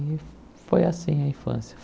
E foi assim a infância.